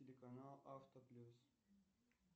телеканал авто плюс